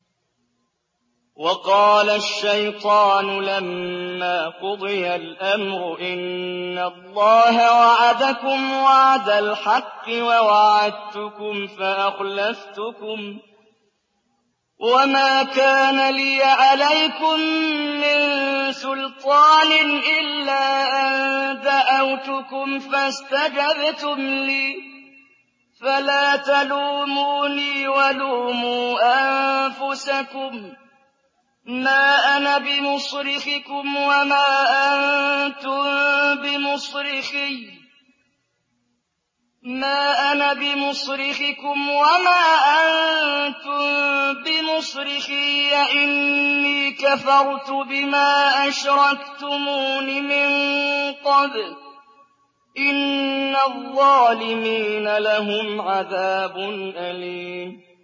وَقَالَ الشَّيْطَانُ لَمَّا قُضِيَ الْأَمْرُ إِنَّ اللَّهَ وَعَدَكُمْ وَعْدَ الْحَقِّ وَوَعَدتُّكُمْ فَأَخْلَفْتُكُمْ ۖ وَمَا كَانَ لِيَ عَلَيْكُم مِّن سُلْطَانٍ إِلَّا أَن دَعَوْتُكُمْ فَاسْتَجَبْتُمْ لِي ۖ فَلَا تَلُومُونِي وَلُومُوا أَنفُسَكُم ۖ مَّا أَنَا بِمُصْرِخِكُمْ وَمَا أَنتُم بِمُصْرِخِيَّ ۖ إِنِّي كَفَرْتُ بِمَا أَشْرَكْتُمُونِ مِن قَبْلُ ۗ إِنَّ الظَّالِمِينَ لَهُمْ عَذَابٌ أَلِيمٌ